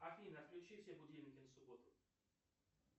афина отключи все будильники на субботу